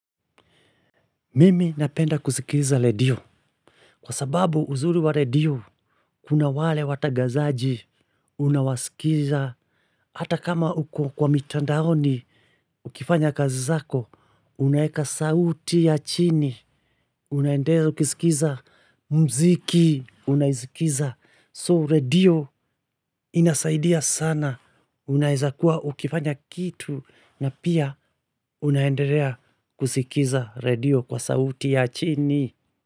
Mimi napenda kusikiza redio. Kwa sababu uzuri wa redio, kuna wale watagazaji unawasikiza hata kama uko kwa mitandaoni. Ukifanya kazi zako, unaeka sauti ya chini. Unaendelea ukisikiza mziki. Unaisikiza soo redio inasaidia sana. Unaeza kuwa ukifanya kitu na pia unaendelea kusikiza redio kwa sauti ya chini.